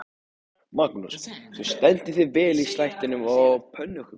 Magnús: Þú stendur þig vel í slættinum og pönnukökunum?